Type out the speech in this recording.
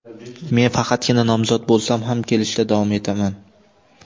Men faqatgina nomzod bo‘lsam ham, kelishda davom etaman.